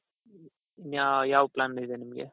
ಇನ್ನಾ ಯಾವ್ ಯಾವ plan ಇದೆ ನಿಮ್ಗೆ?